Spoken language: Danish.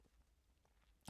DR2